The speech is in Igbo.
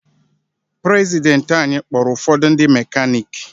Prezidenti anyị kpọọrụ ụfọdụ ndị mekaniki.